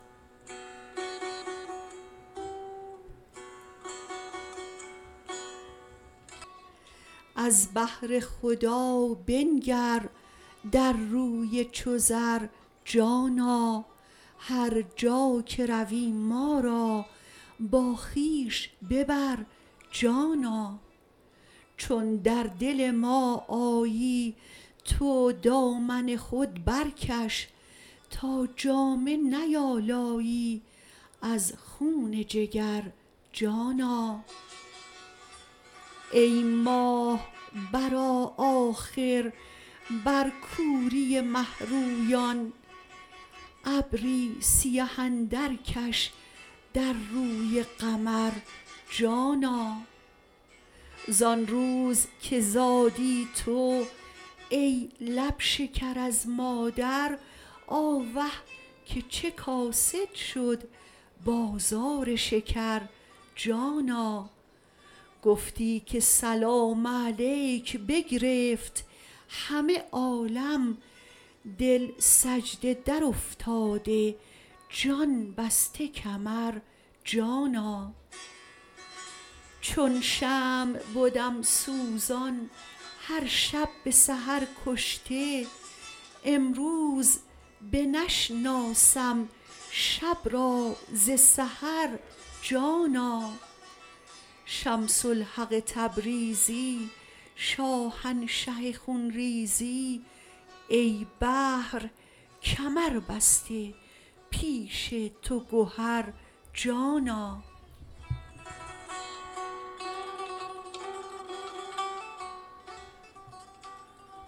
از بهر خدا بنگر در روی چو زر جانا هر جا که روی ما را با خویش ببر جانا چون در دل ما آیی تو دامن خود برکش تا جامه نیالایی از خون جگر جانا ای ماه برآ آخر بر کوری مه رویان ابری سیه اندرکش در روی قمر جانا زان روز که زادی تو ای لب شکر از مادر آوه که چه کاسد شد بازار شکر جانا گفتی که سلام علیک بگرفت همه عالم دل سجده درافتاده جان بسته کمر جانا چون شمع بدم سوزان هر شب به سحر کشته امروز بنشناسم شب را ز سحر جانا شمس الحق تبریزی شاهنشه خون ریزی ای بحر کمربسته پیش تو گهر جانا